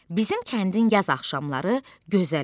Bizim kəndin yaz axşamları gözəl olur.